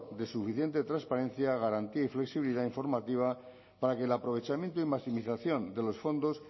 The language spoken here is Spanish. de suficiente transparencia garantía y flexibilidad informativa para que el aprovechamiento y maximización de los fondos